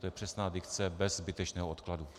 To je přesná dikce - bez zbytečného odkladu.